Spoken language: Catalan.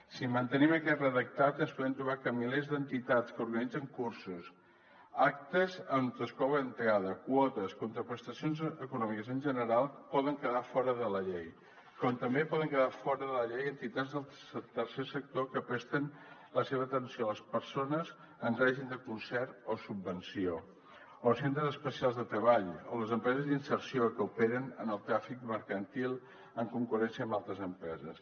si mantenim aquest redactat ens podem trobar que milers d’entitats que organitzen cursos actes on es cobra entrada quotes o contraprestacions econòmiques en general poden quedar fora de la llei com també poden quedar fora de la llei entitats del tercer sector que presten la seva atenció a les persones en règim de concert o subvenció o els centres especials de treball o les empreses d’inserció que operen en el tràfic mercantil en concurrència amb altres empreses